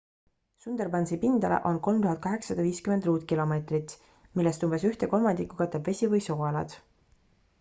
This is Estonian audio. sundarbansi pindala on 3850 km² millest umbes ühte kolmandikku katab vesi või sooalad